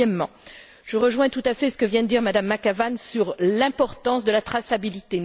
Deuxièmement, je rejoins tout à fait ce que vient de dire Mme McAvan sur l'importance de la traçabilité.